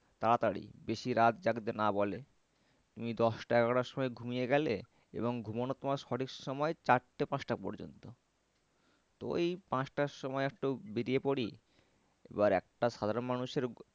তাড়াতাড়ি বেশি রাত জাগতে না বলে। তুমি দশটা এগারোটার সময় ঘুমিয়ে গেলে এবং ঘুমানোর তোমার সঠিক সময় চারটে পাঁচটা পর্যন্ত। তো এই পাঁচটার সময় একটু বেরিয়ে পরি এবার একটা সাধারণ মানুষের